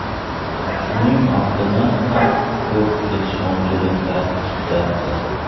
Shuning ortidan ham ko‘p kelishmovchiliklar chiqyapti.